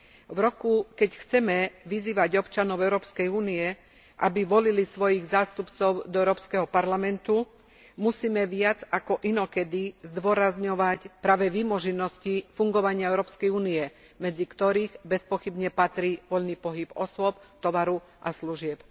V roku, keď chceme vyzývať občanov Európskej únie, aby volili svojich zástupcov do Európskeho parlamentu, musíme viac ako inokedy zdôrazňovať práve vymoženosti fungovania Európskej únie, medzi ktoré bezpochybne patrí voľný pohyb osôb, tovaru a služieb.